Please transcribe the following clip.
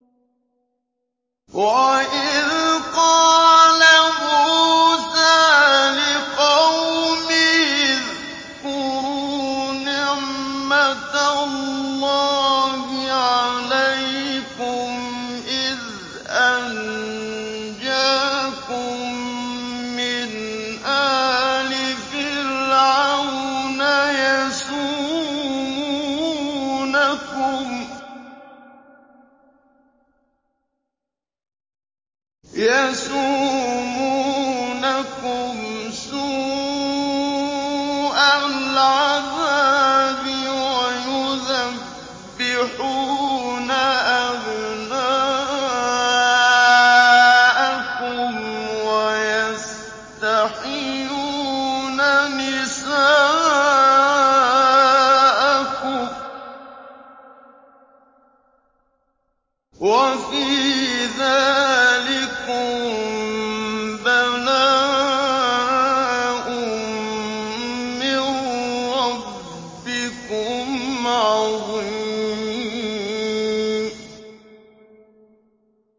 وَإِذْ قَالَ مُوسَىٰ لِقَوْمِهِ اذْكُرُوا نِعْمَةَ اللَّهِ عَلَيْكُمْ إِذْ أَنجَاكُم مِّنْ آلِ فِرْعَوْنَ يَسُومُونَكُمْ سُوءَ الْعَذَابِ وَيُذَبِّحُونَ أَبْنَاءَكُمْ وَيَسْتَحْيُونَ نِسَاءَكُمْ ۚ وَفِي ذَٰلِكُم بَلَاءٌ مِّن رَّبِّكُمْ عَظِيمٌ